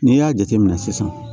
N'i y'a jate minɛ sisan